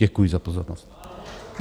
Děkuji za pozornost.